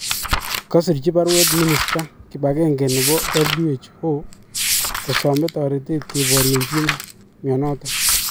kasirchi paruet minista kipagenge nepo WHO kosame taretet koporyenji minyoton